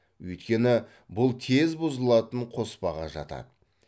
өйткені бұл тез бұзылатын қоспаға жатады